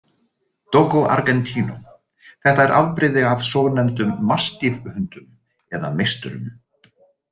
Dogo Argentino Þetta er afbrigði af svonefndum mastiff hundum eða meisturum.